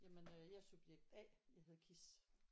Jamen øh jeg er subjekt A jeg hedder Kis